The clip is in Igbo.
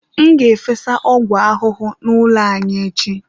M ga-efesa ọgwụ ahụhụ n'ụlọ anyị echi.